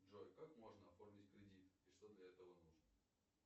джой как можно оформить кредит и что для этого нужно